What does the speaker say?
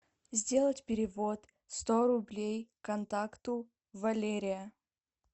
сделать перевод сто рублей контакту валерия